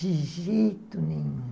De jeito nenhum.